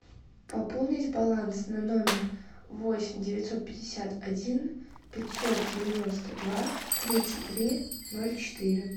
пополнить баланс на номер восемь девятьсот пятьдесят один пятьсот девяносто два тридцать три ноль четыре